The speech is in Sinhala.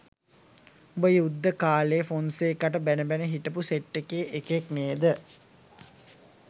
උඹ යුද්දේ කාලේ ෆොන්සේකාට බැන බැන හිටපු සෙට් එකේ එකෙක් නේද?